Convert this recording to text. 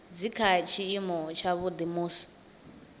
dzi kha tshiimo tshavhuḓi musi